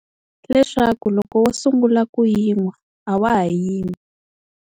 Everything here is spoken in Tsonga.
Leswaku loko wo sungula ku yi nwa a wa ha yimi.